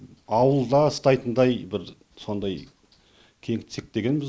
ауылда ұстайтындай бір сондай кеңітсек дегенбіз